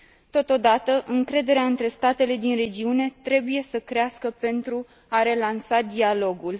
Totodată, încrederea între statele din regiune trebuie să crească, pentru a relansa dialogul.